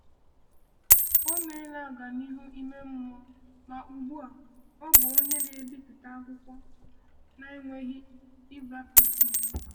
Ọ meela ọganihu ime mmụọ ma ugbu a ọ bụ onye na-ebipụta akwụkwọ na-enweghị ịbaptị.